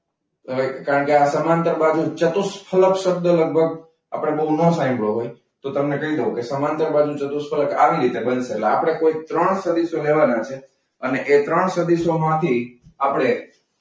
હવે કારણ કે આ સમાંતર બાજુ ચતુષ્ફલક શબ્દ લગભગ આપણે બહુ ન સાંભળ્યો હોય. તો તમને કહી દઉં કે સમાંતર બાજુ ચતુષ્ફલક આવી રીતે બનશે. એટલે આપણે કુલ ત્રણ સદીશો લેવાના છે અને એ ત્રણ સદીસોમાંથી આપણે,